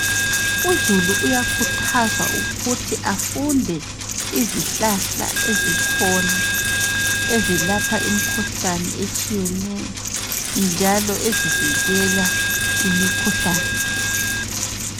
Uzulu uyakhuthazwa ukuthi afunde izihlahla ezikhona ezilapha imkhuhlane etshiyeneyo njalo ezivikela imikhuhlane.